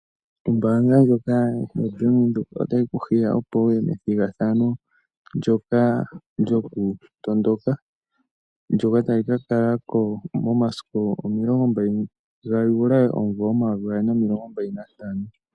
Ombaanga ndjoka yoBank Windhoek otayi kuhiya opo wuye methigathano ndyoka lyokutondoka. Ndyoka tali ka kala ko momasiku 20 July 2025.